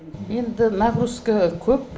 енді нагрузка көп